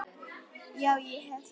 Já, ég hef það.